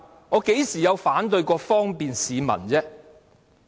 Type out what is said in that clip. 我何曾反對過方便市民？